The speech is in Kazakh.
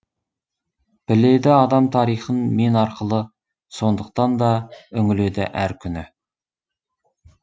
біледі адам тарихын мен арқылы сондықтан да үңіледі әр күні